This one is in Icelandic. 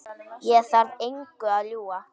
Ég þarf engu að ljúga.